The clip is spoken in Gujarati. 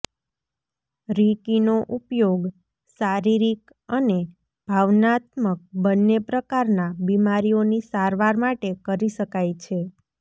રિકીનો ઉપયોગ શારીરિક અને ભાવનાત્મક બંને પ્રકારના બિમારીઓની સારવાર માટે કરી શકાય છે